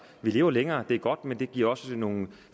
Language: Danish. vi lever længere og det er godt men det giver også nogle